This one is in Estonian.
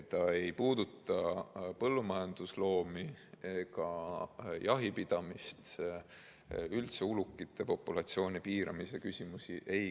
See ei puuduta põllumajandusloomi ega jahipidamist, samuti mitte ulukite populatsiooni piiramise küsimusi.